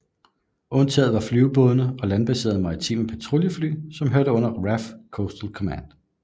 Undtaget var flyvebåde og landbaserede maritime patruljefly som hørte under RAF Coastal Command